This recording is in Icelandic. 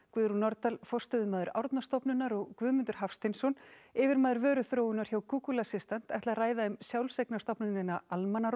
Guðrún Nordal forstöðumaður Árnastofnunar og Guðmundur Hafsteinsson yfirmaður vöruþróunar hjá Google assistant ætla að ræða um sjálfseignarstofnunina